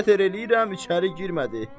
Nə qədər eləyirəm, içəri girmədi.